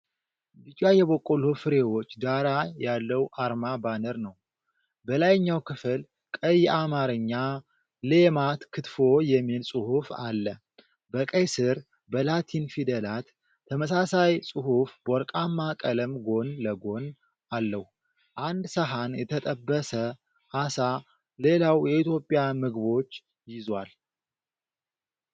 ቢጫ የበቆሎ ፍሬዎች ዳራ ያለው አርማ/ባነር ነው። በላይኛው ክፍል ቀይ የአማርኛ "ሌማት ክትፎ" የሚል ጽሑፍ አለ። በቀይ ስር በላቲን ፊደላት ተመሳሳይ ጽሑፍ በወርቃማ ቀለም ጎን ለጎን አለው። አንድ ሰሃን የተጠበሰ ዓሳ፣ ሌላው የኢትዮጵያ ምግቦች ይዟል።